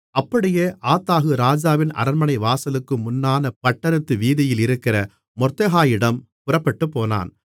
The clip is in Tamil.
அப்படியே ஆத்தாகு ராஜாவின் அரண்மனை வாசலுக்கு முன்னான பட்டணத்து வீதியில் இருக்கிற மொர்தெகாயிடம் புறப்பட்டுப்போனான்